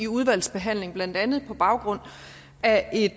udvalgsbehandlingen blandt andet på baggrund af et